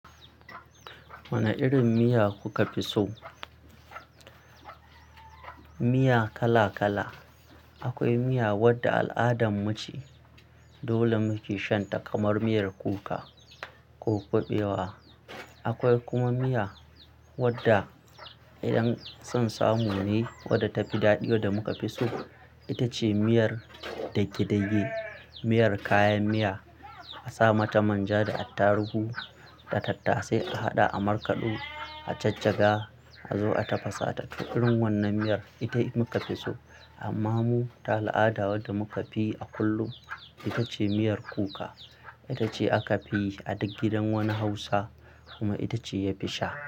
Wane irin miya kuka fi so? Miya kala-kala. Akwai miya wadda al'adanmu ce, dole muke shan ta kamar miyar kuka ko kuɓewa. Akwai kuma miya wadda idan son samu ne wadda ta fi daɗi wadda muka fi so. Ita ce miyar dage-dage. Miyar kayan miya, a sa mata manja da attaruhu da tattasai a haɗa a markaɗo, a jajjaga a zo a tafasa ta. Irin wannan miyar ita muka fi so. Amma mu, ta al'ada wadda muka fi yi a kullum, ita ce miyar kuka. Ita ce aka fi yi a duk gidan wani Hausa kuma ita ce ya fi sha.